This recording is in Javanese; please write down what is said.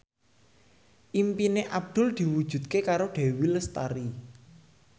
impine Abdul diwujudke karo Dewi Lestari